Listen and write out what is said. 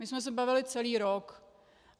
My jsme se bavili celý rok.